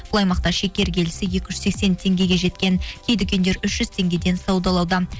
бұл аймақта шекер келісі екі жүз сексен теңгеге жеткен кей дүкендер үш жүз теңгеден саудалауда